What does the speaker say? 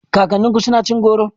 Kakanninku suna cin goro?